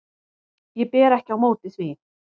Ég ber ekki á móti því.